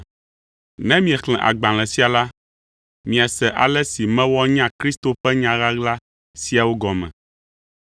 Ne miexlẽ agbalẽ sia la, miase ale si mewɔ nya Kristo ƒe nya ɣaɣla siawo gɔme.